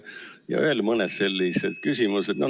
" Ja on veel mõned sellised küsimused.